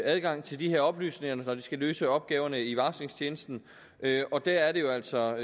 adgang til de her oplysninger når de skal løse opgaverne i varslingstjenesten og der er det jo altså